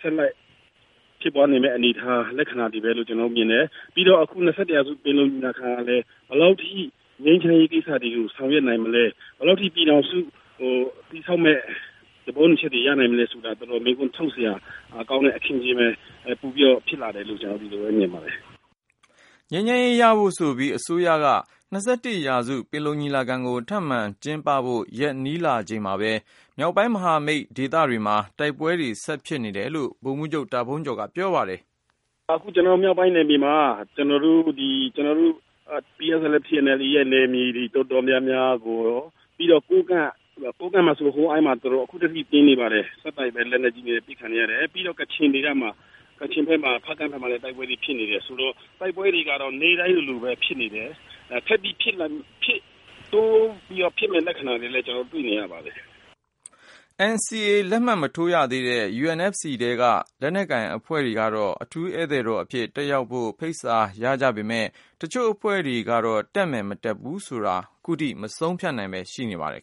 ဆက်လက်ဖြစ်ပွားနေမယ့် အနေအထား လက္ခဏာတွေပဲလို့ ကျနော်တို့မြင်တယ်။ ပြီးတော့ အခု ၂၁ရာစု ပင်လုံညီလာခံကလည်းပဲ ဘယ်လောက်ထိ ငြိမ်းချမ်းရေးကိစ္စတွေကို ဆောင်ရွက်နိုင်မလဲ၊ ဘယ်လောက်ထိ - ပြည်ထောင်စုကို တည်ဆောက်မယ့် သဘောတူညီချက်တွေ ရနိုင်မလဲဆိုတာ တော်တော်လေး မေးခွန်းထုတ်စရာ ကောင်းတဲ့အခင်းအကျင်း ပိုပြီးတော့ ဖြစ်လာတယ်လို့ ဒီလိုပဲ ကျနော်တို့မြင်ပါတယ် ” ငြိမ်းချမ်းရေးရဖို့ဆိုပြီး အစိုးရက ၂၁ရာစု ပင်လုံညီလာခံကို ထပ်မံ ကျင်းပဖို့ရက် နီးလာချိန်မှာပဲ မြောက်ပိုင်းမဟာမိတ်ဒေသတွေမှာ တိုက်ပွဲတွေ ဆက်ဖြစ်နေတယ်လို့ ဗိုလ်မှူးချုပ် တာဖုန်းကျော်က ပြောပါတယ်။ “ အခုကျနော်တို့ မြောက်ပိုင်းနယ်မြေမှာ ဒီကျနော်တို့ PSLF/TNLA ရဲ့နယ်မြေတွေ တော်တော်များများကိုရော ပြီးတော့ ကိုးကန့်ပေါ့။ ကိုးကန့် ထဲမှာဆို ဟိုအိုင်းမှာ ခုထက်ထိ တိုက်ပွဲပြင်းနေပါတယ်။ လက်နက်ကြီးတွေနဲ့ အပစ်ခံနေရတယ်။ ပြီးတော့ ကချင်ဖက်မှာ ဖားကန့်ဖက်မှာဆိုလဲ တိုက်ပွဲတွေ ဖြစ်နေတယ်ဆိုတော့ တိုက်ပွဲတွေကတော့ နေ့တိုင်းလိုလိုပဲ ဖြစ်နေတယ်။ ဆက်ပြီးတော့ တိုးပြီးဖြစ်မယ့် လက္ခဏာတွေလည်း ကျနော်တို့ တွေ့နေ ရပါတယ် ” NCA လက်မှတ်မထိုးရသေးတဲ့ UNFC ထဲက လက်နက်ကိုင်အဖွဲ့တွေကတော့ အထူးဧည့်သည်တော်အဖြစ် တက်ရောက်ဖို့ ဖိတ်စာရကြ ပေမယ့် တချို့အဖွဲ့တွေကတော့ တက်မယ် မတက်ဘူးဆိုတာ ခုထိ မဆုံးဖြတ်နိုင်ပဲ ရှိနေပါတယ်